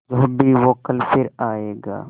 जो भी हो कल फिर आएगा